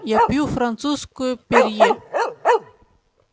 я пью французскую перье